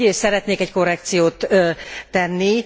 Egyrészt szeretnék egy korrekciót tenni.